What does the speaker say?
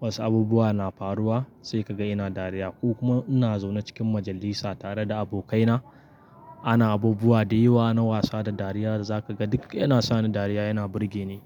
wasu abubuwa na faruwa sai ka ga ina dariya. Ko kuma ina zaune cikin majalisa tare da abokaina ana abubuwa da yawa na wasa da dariya, za ka ga duk yana sa ni dariya yana burge ni.